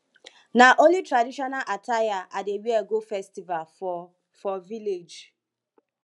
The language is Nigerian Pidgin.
na only traditional attire i dey wear go festival for for village